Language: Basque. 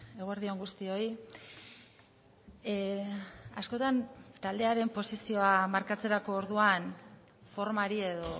eguerdi on guztioi askotan taldearen posizioa markatzerako orduan formari edo